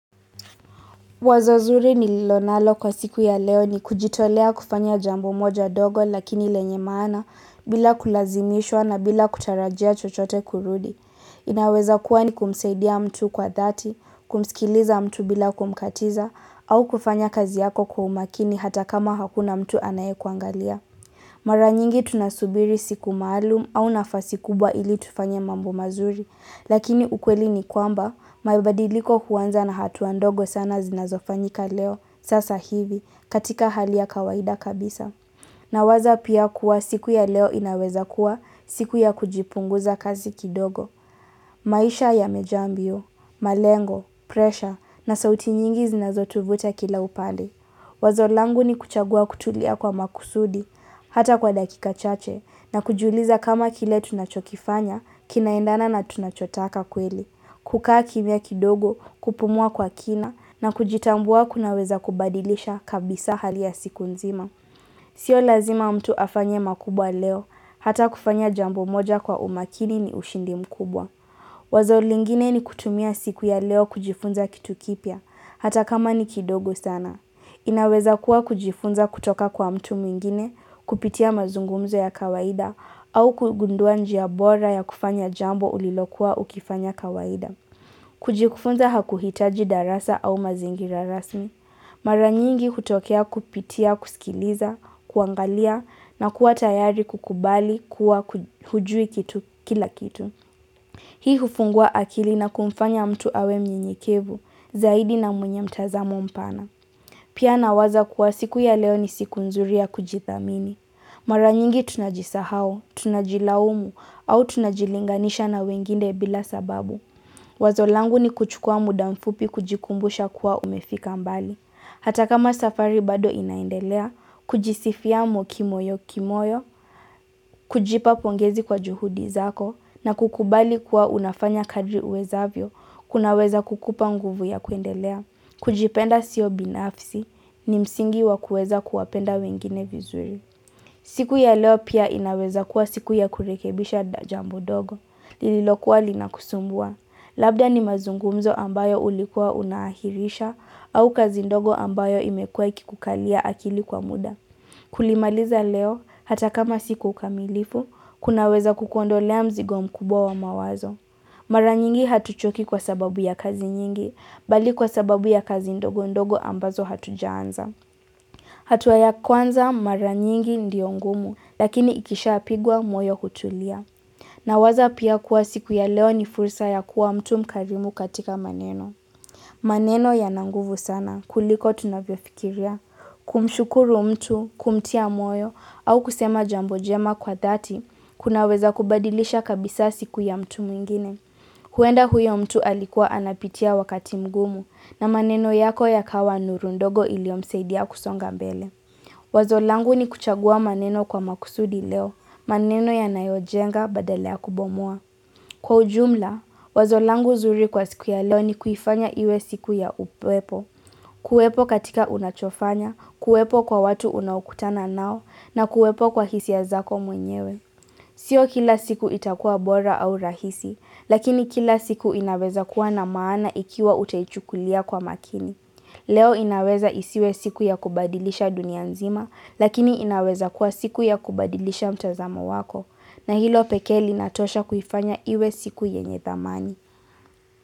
Wazo zuri nililo nalo kwa siku ya leo ni kujitolea kufanya jambo moja dogo lakini lenye maana bila kulazimishwa na bila kutarajia chochote kurudi. Inaweza kuwa ni kumsaidia mtu kwa dhati, kumsikiliza mtu bila kumkatiza au kufanya kazi yako kwa umakini hata kama hakuna mtu anaye kuangalia. Mara nyingi tunasubiri siku maalum au nafasi kubwa ili tufanye mambo mazuri, lakini ukweli ni kwamba, mabadiliko huanza na hatua ndogo sana zinazofanyika leo sasa hivi katika hali ya kawaida kabisa. Nawaza pia kuwa siku ya leo inaweza kuwa siku ya kujipunguza kazi kidogo. Maisha yamejaa mbio, malengo, presha na sauti nyingi zinazotuvuta kila upande. Wazo langu ni kuchagua kutulia kwa makusudi hata kwa dakika chache na kujiuliza kama kile tunachokifanya kinaendana na tunachotaka kweli. Kukaa kimya kidogo kupumua kwa kina na kujitambua kunaweza kubadilisha kabisa hali ya siku nzima. Sio lazima mtu afanye makubwa leo, hata kufanya jambo moja kwa umakini ni ushindi mkubwa. Wazo lingine ni kutumia siku ya leo kujifunza kitu kipya, hata kama ni kidogo sana. Inaweza kuwa kujifunza kutoka kwa mtu mwingine, kupitia mazungumzo ya kawaida, au kugundua njia bora ya kufanya jambo ulilokuwa ukifanya kawaida. Kujifunza hakuhitaji darasa au mazingira rasmi. Mara nyingi hutokea kupitia, kusikiliza, kuangalia na kuwa tayari kukubali kuwa hujui kila kitu. Hii hufungua akili na kumfanya mtu awe mnyenyekevu zaidi na mwenye mtazamo mpana. Pia nawaza kuwa siku ya leo ni siku nzuri ya kujithamini. Mara nyingi tunajisahau, tunajilaumu au tunajilinganisha na wengine bila sababu. Wazo langu ni kuchukua muda mfupi kujikumbusha kuwa umefika mbali. Hata kama safari bado inaendelea, kujisifia kimoyo kimoyo, kujipa pongezi kwa juhudi zako, na kukubali kuwa unafanya kadri uwezavyo, kunaweza kukupa nguvu ya kuendelea, kujipenda sio binafsi, ni msingi wa kuweza kuwapenda wengine vizuri. Siku ya leo pia inaweza kuwa siku ya kurekebisha jambo dogo, lililokuwa linakusumbua, labda ni mazungumzo ambayo ulikuwa unahirisha au kazi ndogo ambayo imekuwa ikikukalia akili kwa muda. Kulimaliza leo, hata kama si kwa ukamilifu, kunaweza kukondolea mzigo mkubwa mawazo. Mara nyingi hatuchoki kwa sababu ya kazi nyingi, bali kwa sababu ya kazi ndogo ndogo ambazo hatujaanza. Hatua ya kwanza mara nyingi ndiyo ngumu lakini ikishapigwa moyo hutulia. Nawaza pia kuwa siku ya leo ni fursa ya kuwa mtu mkarimu katika maneno. Maneno yananguvu sana kuliko tunavyo fikiria. Kumshukuru mtu, kumtia moyo au kusema jambo jema kwa dhati, kunaweza kubadilisha kabisa siku ya mtu mwingine. Huenda huyo mtu alikuwa anapitia wakati mgumu na maneno yako yakawa nuru ndogo iliomsaidia kusonga mbele. Wazo langu ni kuchagua maneno kwa makusudi leo, maneno yanayo jenga badala ya kubomoa. Kwa ujumla, wazo langu zuri kwa siku ya leo ni kuifanya iwe siku ya ukuwepo, kuwepo katika unachofanya, kuwepo kwa watu unaukutana nao, na kuwepo kwa hisia zako mwenyewe. Sio kila siku itakuwa bora au rahisi, lakini kila siku inaweza kuwa na maana ikiwa utaichukulia kwa makini. Leo inaweza isiwe siku ya kubadilisha dunia nzima lakini inaweza kuwa siku ya kubadilisha mtazamo wako na hilo pekee linatosha kuifanya iwe siku yenye thamani.